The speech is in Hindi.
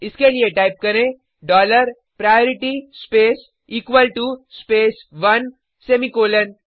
इसके लिए टाइप करें dollar priority space equal to space 1 semicolon